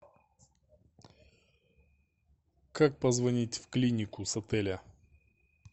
как позвонить в клинику с отеля